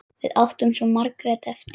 Við áttum svo margt eftir.